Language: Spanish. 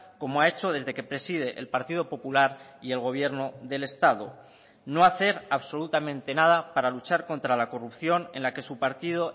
como ha hecho desde que preside el partido popular y el gobierno del estado no hacer absolutamente nada para luchar contra la corrupción en la que su partido